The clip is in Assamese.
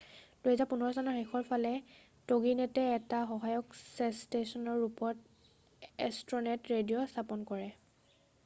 2015ৰ শেষৰ ফালে টগিনেটে এটা সহায়ক ষ্টেচনৰ ৰূপত এষ্ট্ৰনেট ৰেডিঅ'ৰ স্থাপনা কৰে